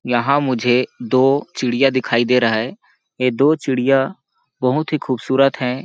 यहाँ मुझे दो चिड़िया दिखाई दे रहा है ये दो चिड़िया बहुत ही खूबसूरत हैं।